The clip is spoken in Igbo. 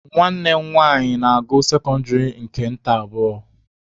Nwanne m nwanyi na-agụ sekọndịrị nta nke abụọ.